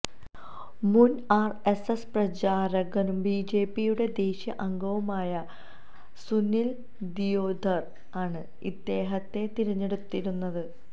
മുന് ആര്എസ്എസ് പ്രചാരകും ബിജെപിയുടെ ദേശീയ അംഗവുമായ ആയ സുനില് ദിയോദര് ആണ് ഇദ്ദേഹത്തെ തിരഞ്ഞെടുത്തിരുന്നത്